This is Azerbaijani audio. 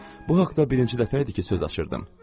Bu haqda birinci dəfə idi ki, söz açırdım.